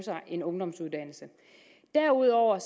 en ungdomsuddannelse derudover er